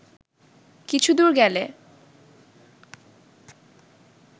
কিছুদূর গেলে